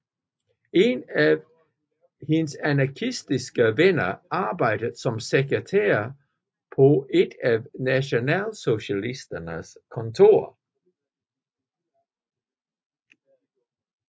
En af hendes anarkistiske veninder arbejdede som sekretær på et af nationalsocialisternes kontorer